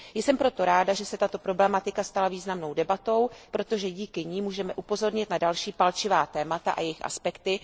Jsem proto ráda, že se tato problematika stala významnou debatou, protože díky ní můžeme upozornit na další palčivá témata a jejich aspekty.